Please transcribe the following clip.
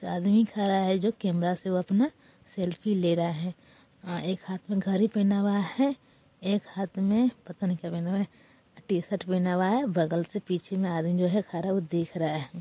आदमी खरा है जो कैमरा से वह अपना सेल्फी ले रहा है| हाँ एक हाथ में घरी पहना हुआ है एक हाथ में पता नहीं क्या पहना हुआ है| टीशर्ट पहना हुआ है बगल से पीछे में आदमी जो है खरा वो देख रहा है।